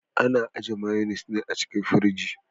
Ana ajiye mayonnes ne a cikin firji.